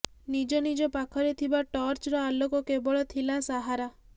ନିଜ ନିଜ ପାଖରେ ଥିବା ଟର୍ଚ୍ଚର ଆଲୋକ କେବଳ ଥିଲା ସାହାରା